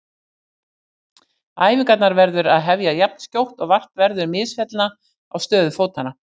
Æfingarnar verður að hefja jafnskjótt og vart verður misfellna á stöðu fótanna.